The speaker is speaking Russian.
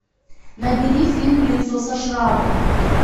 набери фильм лицо со шрамом